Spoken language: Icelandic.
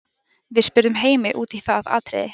Við spurðum Heimi út í það atriði.